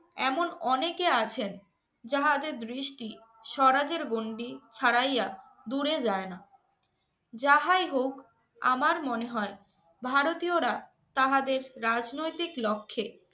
এমন অনেকে আছেন, যাহাদের দৃষ্টি স্বরাজের গন্ডি ছাড়াইয়া দূরে যায় না। যাহাই হোক আমার মনে হয় ভারতীয়রা তাহাদের রাজনৈতিক লক্ষ্যে